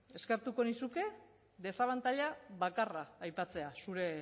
eskertuko nizuke desabantaila bakarra aipatzea zure